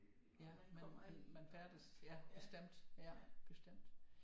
Ja man færdes ja bestemt ja bestemt